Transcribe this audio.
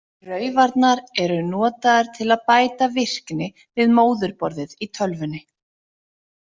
Raufarnar eru notaðar til að bæta virkni við móðurborðið í tölvunni.